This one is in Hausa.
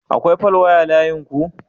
Akwai falwaya layinku?